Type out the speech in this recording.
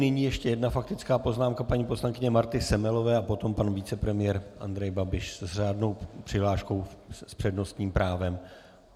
Nyní ještě jedna faktická poznámka paní poslankyně Marty Semelové a potom pan vicepremiér Andrej Babiš s řádnou přihláškou s přednostním právem.